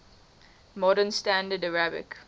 modern standard arabic